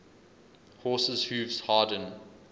horses hooves harden